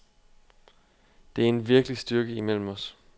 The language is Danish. Det er en virkelig styrke imellem os.